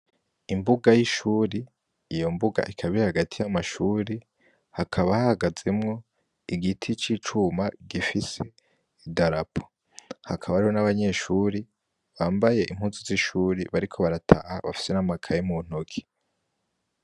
Imbuga y'ishure, iyo mbuga ikaba iri hagati y'amashure, hakaba hahagazemwo igiti c'icuma gifise idarapo, hakaba hariho n'abanyeshure bambaye impuzu z'ishure bariko barataha bafise n'amakaye mu ntoki.